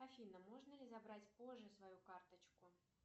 афина можно ли забрать позже свою карточку